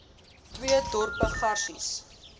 twee dorpe garies